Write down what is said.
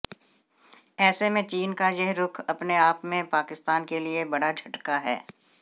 ऐसे में चीन का यह रुख अपने आप में पाकिस्तान के लिए बड़ा झटका है